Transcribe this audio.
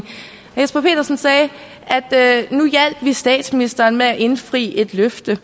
jesper petersen sagde at nu hjalp vi statsministeren med at indfri et løfte